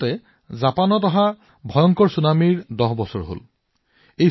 এই মাহত জাপানৰ বিকৰাল ছুনামিৰ ১০ বছৰ সম্পূৰ্ণ হৈছে